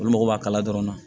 Olu mago b'a kala dɔrɔn na